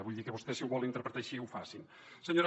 vull dir que vostès si ho volen interpretar així facin ho